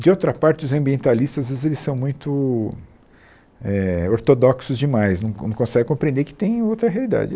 De outra parte, os ambientalistas, às vezes, eles são muito eh ortodoxos demais, não não conseguem compreender que tem outra realidade.